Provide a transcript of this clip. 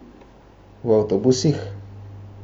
V avtobusih.